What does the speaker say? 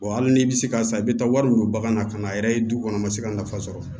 Wa hali n'i bɛ se ka san i bɛ taa wari don bagan na ka na a yɛrɛ ye du kɔnɔ ma se ka nafa sɔrɔ